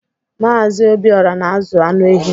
Mazị Obiora na-azụ anụ ehi.